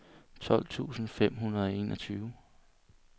tolv tusind fem hundrede og enogtyve